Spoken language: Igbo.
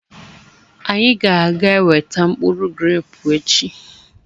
Anyị ga-aga eweta mkpụrụ grẹpu echi.